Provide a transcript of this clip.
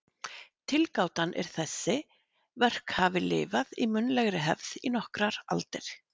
Tilgátan er að þessi verk hafi lifað í munnlegri hefð í nokkrar aldir.